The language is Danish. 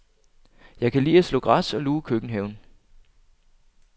Jeg kan lide at slå græs og luge køkkenhaven.